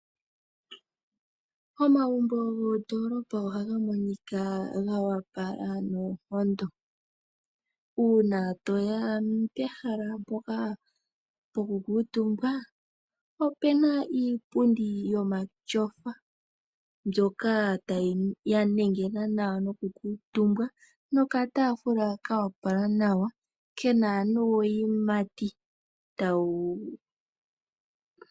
Omagumbo goondolopa ohaga monika goopala noonkondo . Uuna toya pehala mpoka lyoku kuutumbwa opuna iipundi yomatyofa , mbyoka yanengena nawa noku kuutumbwa nokataafula koopala nawa kena nuuyimati.